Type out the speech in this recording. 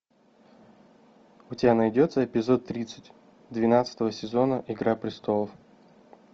у тебя найдется эпизод тридцать двенадцатого сезона игра престолов